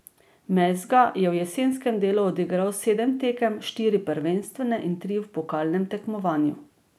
Mezga je v jesenskem delu odigral sedem tekem, štiri prvenstvene in tri v pokalnem tekmovanju.